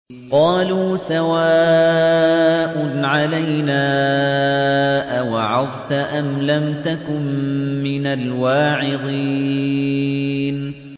قَالُوا سَوَاءٌ عَلَيْنَا أَوَعَظْتَ أَمْ لَمْ تَكُن مِّنَ الْوَاعِظِينَ